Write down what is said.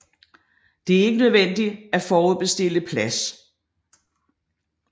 Det er ikke nødvendigt at forudbestille plads